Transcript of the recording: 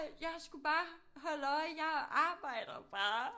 Jeg skulle bare holde øje jeg arbejder bare